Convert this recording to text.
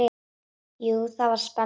Jú, það var spenna.